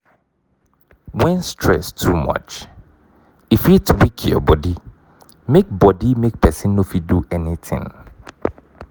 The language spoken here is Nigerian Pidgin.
when stress too much e fit weak your body make body make person no fit do anything